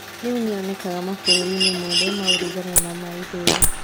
Rĩu nĩ yonekaga mabũrũri-inĩ mothe ma ũrugarĩ na ma ithũĩro.